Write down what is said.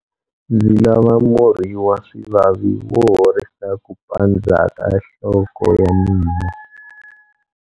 Ndzi lava murhi wa swivavi wo horisa ku pandza ka nhloko ya mina.